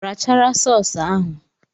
Rachara sọọs ahụ!